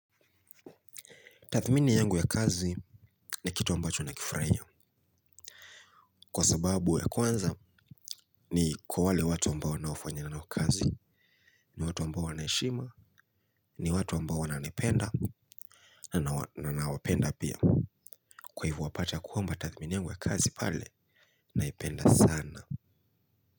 Tathmini yangu ya kazi ni kitu ambacho nakifuraia. Kwa sababu ya kwanza ni kwa wale watu ambao naofanya nao kazi. Ni watu ambao wanaheshima, ni watu ambao wananipenda. Na na wapenda pia. Kwa hivo wapata kwamba tathmini yangu ya kazi pale naipenda sana.